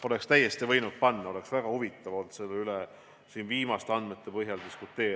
Oleks täiesti võinud panna, oleks väga huvitav olnud selle üle siin viimaste andmete põhjal diskuteerida.